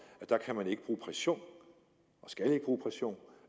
at der kan man ikke bruge pression og skal ikke bruge pression